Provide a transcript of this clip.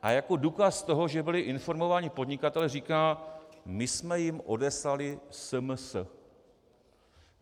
A jako důkaz toho, že byli informováni podnikatelé, říká, my jsme jim odeslali SMS.